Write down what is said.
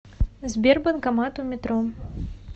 сбер банкомат у метро